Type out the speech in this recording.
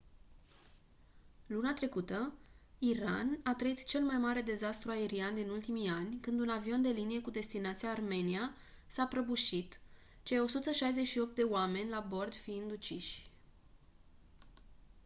luna trecută iran a trăit cel mai mare dezastru aerian din ultimii ani când un avion de linie cu destinația armenia s-a prăbușit cei 168 de oameni la bord fiind uciși